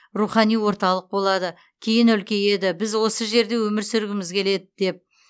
рухани орталық болады кейін үлкейеді біз осы жерде өмір сүргіміз келеді деп